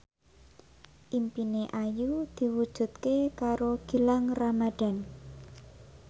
impine Ayu diwujudke karo Gilang Ramadan